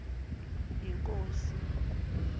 yinkosi